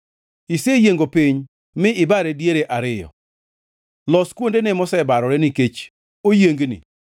Iseyiengo piny mi ibare diere ariyo, Los kuondene mosebarore, nikech oyiengni.